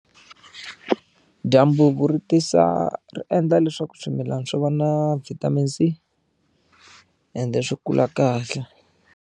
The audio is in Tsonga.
Dyambu ri tisa ri endla leswaku swimilana swi va na vitamin C i ende swi kula kahle.